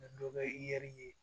dɔ bɛ i yɛrɛ ye